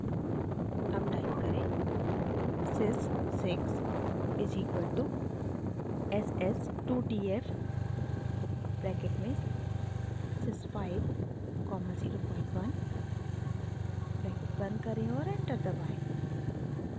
अब टाइप करें sys 6 is equal to s s 2 t f bracket में sys 5 comma 01 bracket बंद करें और एंटर दबाएं